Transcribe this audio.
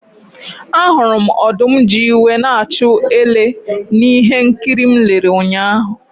Ahụrụ m ọdụm ji iwe na-achụ ele na ihe nkiri m lere ụnyahụ.